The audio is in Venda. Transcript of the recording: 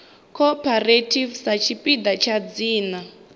cooperative sa tshipiḓa tsha dzina